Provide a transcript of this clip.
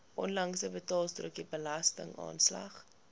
onlangse betaalstrokie belastingaanslag